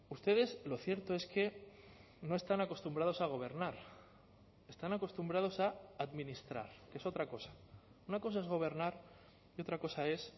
ustedes lo cierto es que no están acostumbrados a gobernar están acostumbrados a administrar que es otra cosa una cosa es gobernar y otra cosa es